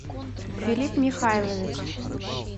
филипп михайлович